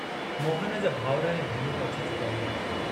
मोहन जा भाउर ऐं भेनरूं अची चुका हुआ।